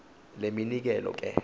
le minikelo ke